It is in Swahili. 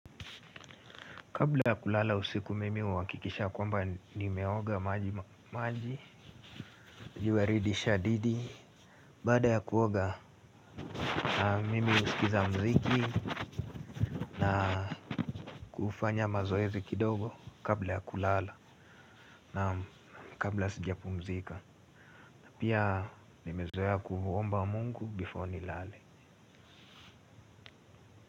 Kabla ya kulala usiku mimi huhakikisha kwamba nimeoga maji maji. Jiwarid shadidi. Baada ya kuoga na mimi husikiza muziki. Na kufanya mazoezi kidogo kabla ya kulala na kabla sijapumzika pia nimezoea kuomba mungu before nilale.